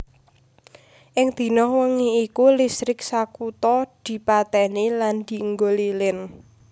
Ing dina wengi iku listrik sakutha dipatèni lan dienggo lilin